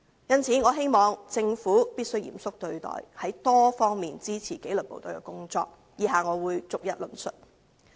因此，我希望政府必須嚴肅對待，從多方面支持紀律部隊的工作，以下我會逐一論述。